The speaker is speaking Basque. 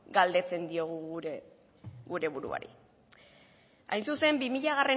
galdetzen diogu gure buruari hain zuzen bi milagarrena